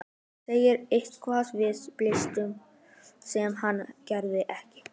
Segir eitthvað við bílstjórann sem hann heyrir ekki.